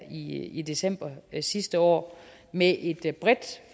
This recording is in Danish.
i i december sidste år med et bredt